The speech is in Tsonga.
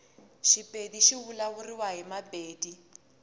shipedi shivulavuliwa himapedi